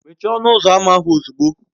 Mechie ọnụ ụzọ ámá ahụ ozugbo!